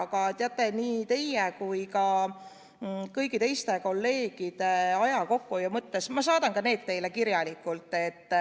Aga teate, nii teie kui ka kõigi teiste kolleegide aja kokkuhoiu mõttes ma saadan selle vastuse teile kirjalikult.